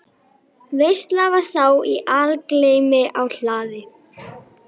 Veisla var þá í algleymi á hlaði.